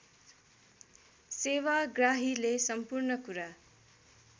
सेवाग्राहीले सम्पूर्ण कुरा